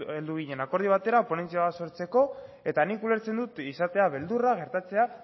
heldu ginen akordio batera ponentzia bat sortzeko eta nik ulertzen dut izatea beldurra gertatzea